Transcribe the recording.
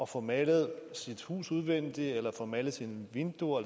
få malet sit hus udvendigt at få malet sine vinduer